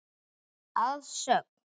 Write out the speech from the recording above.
Að sögn